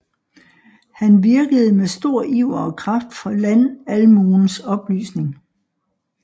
Han virkede med stor iver og kraft for landalmuens oplysning